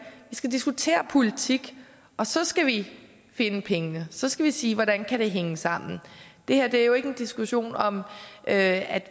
vi skal diskutere politik og så skal vi finde pengene så skal vi sige hvordan det kan hænge sammen det her er jo ikke en diskussion om at